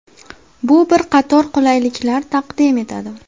Bu bir qator qulayliklar taqdim etadi.